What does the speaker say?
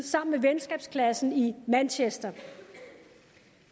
sammen med venskabsklassen i manchester